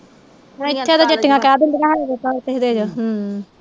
ਹਮ